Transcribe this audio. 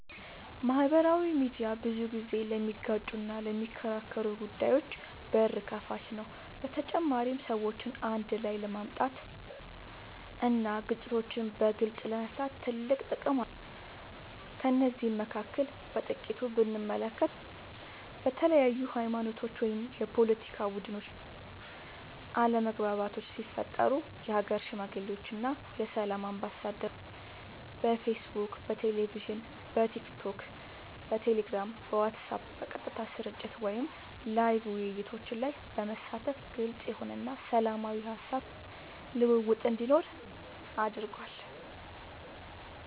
ማህበራዊ ሚድያ ብዙ ጊዜ ለሚጋጩና ለሚከራከሩ ጉዳዮች በር ከፋች ነው በተጨማሪም ሰዎችን አንድ ላይ ለማምጣት እና ግጭቶችን በግልፅ ለመፍታት ትልቅ ጥቅም አለው ከነዚህም መካከል በጥቂቱ ብንመለከት በተለያዩ ሀይማኖቶች ወይም የፓለቲካ ቡድኖች መካከል አለመግባባቶች ሲፈጠሩ የሀገር ሽማግሌዎች እና የሰላም አምባሳደሮች በፌስቡክ በቴሌቪዥን በቲክቶክ በቴሌግራም በዋትስአብ በቀጥታ ስርጭት ወይም ላይቭ ውይይቶች ላይ በመሳተፍ ግልፅ የሆነ እና ሰላማዊ የሀሳብ ልውውጥ እንዲኖር አድርጓል።